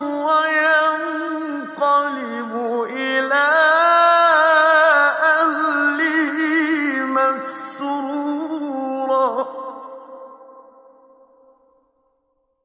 وَيَنقَلِبُ إِلَىٰ أَهْلِهِ مَسْرُورًا